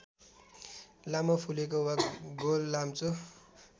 लामो फुलेको वा गोललाम्चो